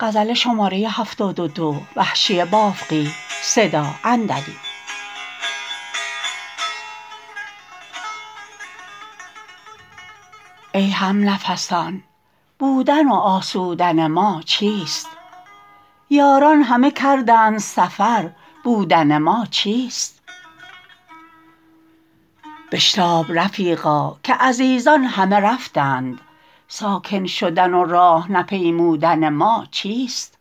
ای همنفسان بودن و آسودن ما چیست یاران همه کردند سفر بودن ما چیست بشتاب رفیقا که عزیزان همه رفتند ساکن شدن و راه نپیمودن ما چیست